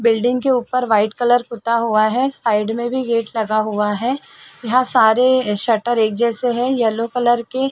building के ऊपर white colour पूता हुआ है साइड में भी गेट लगा हुआ है यहाँ सारे अ शटर एक जैसे है येलो कलर के--